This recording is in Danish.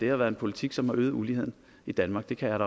har været en politik som har øget uligheden i danmark det kan